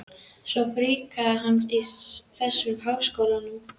Svo fríkað að hanga í þessum háskólum!